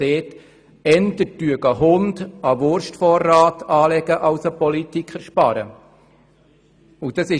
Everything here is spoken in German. «Eher würde ein Hund einen Wurstvorrat anlegen, als ein Politiker sparen würde.»